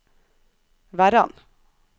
Verran